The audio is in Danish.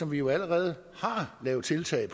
vi jo allerede har lavet tiltag